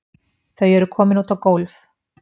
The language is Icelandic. Þau eru komin út á gólf.